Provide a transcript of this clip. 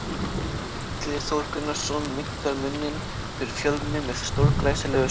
Illugi Þór Gunnarsson minnkar muninn fyrir Fjölni með stórglæsilegu skoti!